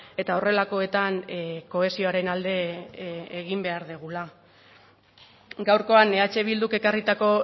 eta horrelakoetan kohesioaren alde egin behar dugula gaurkoan eh bilduk ekarritako